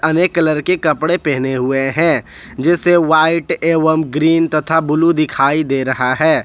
अनेक कलर के कपड़े पहने हुए हैं जैसे व्हाइट एवं ग्रीन तथा ब्लू दिखाई दे रहा है।